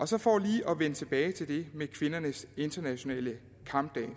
så for lige at vende tilbage til det med kvindernes internationale kampdag vil